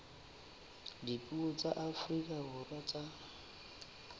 dipuo tsa afrika borwa tsa